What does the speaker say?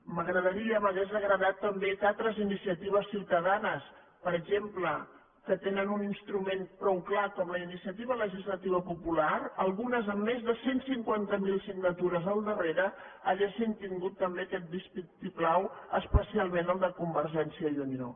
m’agradaria m’hauria agradat també que altres iniciatives ciutadanes per exemple que tenen un instrument prou clar com la iniciativa legislativa popular algunes amb més de cent i cinquanta miler signatures al darrere haguessin tingut també aquest vistiplau especialment el de convergència i unió